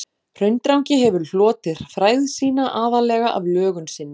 Hraundrangi hefur hlotið frægð sína aðallega af lögun sinni.